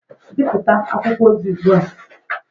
Bipụta akwụkwọ ozi ugbu a!